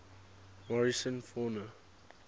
morrison fauna